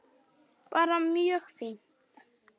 Bara mjög fínt.